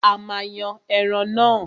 A máa yan ẹran náà.